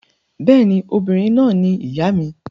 Bẹ́ẹ̀ ni, obìnrin náà ni ìyá mi.